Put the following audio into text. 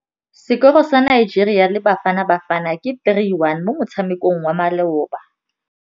Sekôrô sa Nigeria le Bafanabafana ke 3-1 mo motshamekong wa malôba.